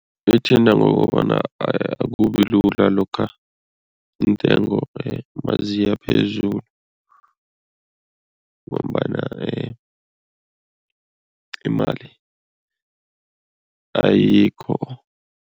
Lithinta ngokobana akubilula lokha iintengo maziya phezulu ngombana imali ayikho.